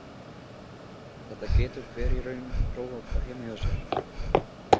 Þetta getur hver sem er í raun prófað heima hjá sér.